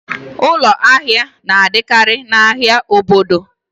Ụlọ ahịa na-adịkarị n'ahia obodo